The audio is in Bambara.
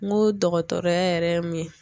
N go dɔgɔtɔrɔya yɛrɛ ye mun ye